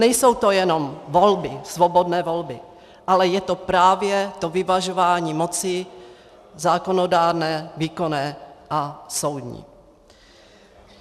Nejsou to jenom volby, svobodné volby, ale je to právě to vyvažování moci zákonodárné, výkonné a soudní.